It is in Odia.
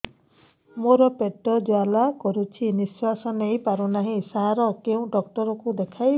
ମୋର ପେଟ ଜ୍ୱାଳା କରୁଛି ନିଶ୍ୱାସ ନେଇ ପାରୁନାହିଁ ସାର କେଉଁ ଡକ୍ଟର କୁ ଦେଖାଇବି